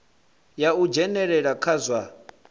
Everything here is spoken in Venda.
ya u dzhenelela kha zwa